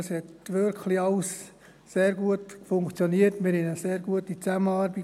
Das hat wirklich alles sehr gut funktioniert, wir hatten eine sehr gute Zusammenarbeit.